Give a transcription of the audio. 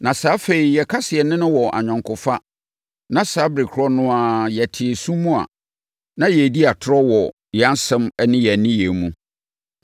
Na sɛ afei yɛka sɛ yɛne no wɔ ayɔnkofa na saa ɛberɛ korɔ no ara mu yɛte sum mu a, na yɛredi atorɔ wɔ yɛn nsɛm ne yɛn nneyɛeɛ mu.